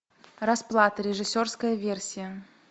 расплата режиссерская версия